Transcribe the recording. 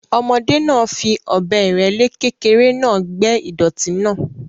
Ọmọdé náà fi ọ̀bẹ ìrẹ́le kékeré náà gbẹ́ ìdọ̀tí náà.